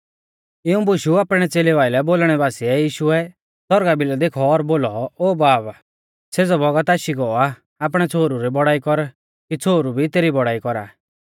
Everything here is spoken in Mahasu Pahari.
इऊं बुशु आपणै च़ेलेऊ आइलै बोलणै बासीऐ यीशुऐ सौरगा भिलै देखौ और बोलौ ओ बाब सेज़ौ बौगत आशी गौ आ आपणै छ़ोहरु री बौड़ाई कर की छ़ोहरु भी तेरी बौड़ाई कौरा